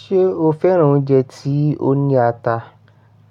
Ṣé o fẹ́ràn oúnjẹ tí ó ní ata?